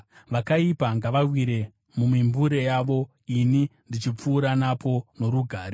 Vakaipa ngavawire mumimbure yavo, ini ndichipfuura napo norugare.